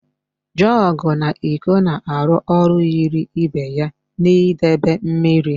Jọgụ na íkó na-arụ ọrụ yiri ibe ya n'idebe mmiri